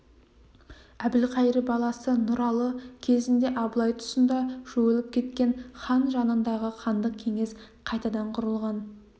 әбілқайыр баласы нұралы кезінде абылай тұсында жойылып кеткен хан жанындағы хандық кеңес қайтадан құрылған